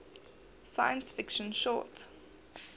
science fiction short